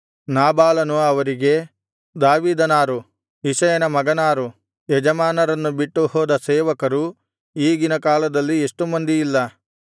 ನಾಬಾಲನು ಅವರಿಗೆ ದಾವೀದನಾರು ಇಷಯನ ಮಗನಾರು ಯಜಮಾನರನ್ನು ಬಿಟ್ಟು ಹೋದ ಸೇವಕರು ಈಗಿನ ಕಾಲದಲ್ಲಿ ಎಷ್ಟು ಮಂದಿಯಿಲ್ಲ